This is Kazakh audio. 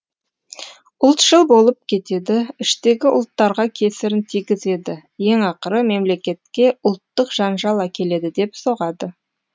ұлтшыл болып кетеді іштегі ұлттарға кесірін тигізеді ең ақыры мемлекетке ұлттық жанжал әкеледі деп соғады